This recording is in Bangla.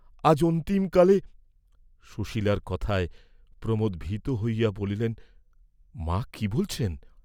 "আজ অন্তিম কালে," সুশীলার কথায় প্রমোদ ভীত হইয়া বলিলেন, "মা কি বলছেন?"